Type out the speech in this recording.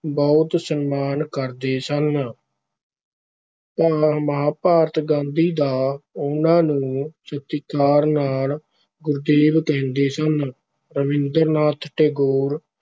ਬਹੁਤ ਸਨਮਾਨ ਕਰਦੇ ਸਨ ਭਾ ਮਹਾਭਾਰਤ ਗਾਂਧੀ ਤਾਂ ਉਹਨਾਂ ਨੂੰ ਸਤਿਕਾਰ ਨਾਲ ਗੁਰਦੇਵ ਕਹਿੰਦੇ ਸਨ, ਰਾਬਿੰਦਰ ਨਾਥ ਟੈਗੋਰ